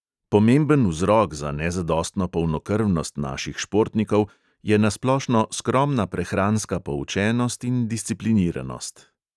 Pomemben vzrok za nezadostno polnokrvnost naših športnikov je na splošno skromna prehranska poučenost in discipliniranost.